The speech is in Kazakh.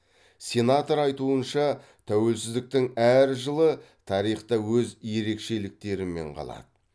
сенатор айтуынша тәуелсіздіктің әр жылы тарихта өз ерекшеліктерімен қалады